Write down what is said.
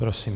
Prosím.